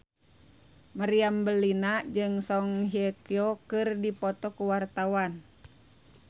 Meriam Bellina jeung Song Hye Kyo keur dipoto ku wartawan